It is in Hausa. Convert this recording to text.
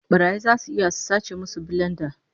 Barayi zasu iya su sace musu bilenda